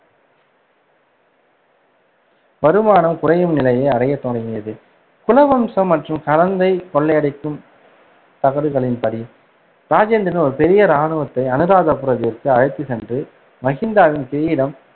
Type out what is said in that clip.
வருமானம் குறையும் நிலையை அடையத் தொடங்கியது. குலவம்சம் மற்றும் கரந்தை கொள்ளையடிக்கும் தகடுகளின்படி, ராஜேந்திரன் ஒரு பெரிய இராணுவத்தை அனுராதபுரத்திற்கு அழைத்துச் சென்று, மகிந்தாவின் கிரீடம்,